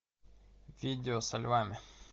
видео со львами